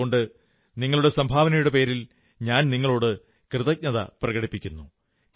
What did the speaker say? അതുകൊണ്ട് നിങ്ങളുടെ സംഭാവനകളുടെ പേരിൽ ഞാൻ നിങ്ങളോടു കൃതജ്ഞത പ്രകടിപ്പിക്കുന്നു